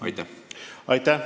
Aitäh!